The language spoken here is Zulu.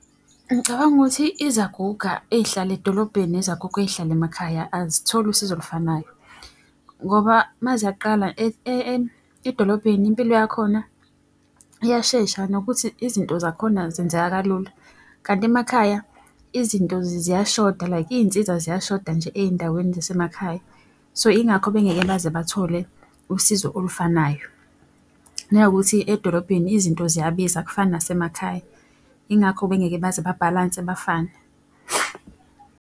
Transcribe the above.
Ngicabanga ukuthi izaguga ey'hlala edolobheni nezaguga ey'hlala emakhaya azitholi usizo olufanayo. Ngoba uma ziyaqala edolobheni impilo yakhona iyashesha nokuthi izinto zakhona zenzeka kalula. Kanti emakhaya izinto ziyashoda, like iy'nsiza ziyashoda nje ey'ndaweni zasemakhaya. So ingakho bengeke baze bathole usizo olufanayo. Nanokuthi edolobheni izinto ziyabiza akufani nasemakhaya, ingakho bengeke baze babhalanse bafane.